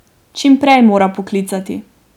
Čim prej mora poklicati.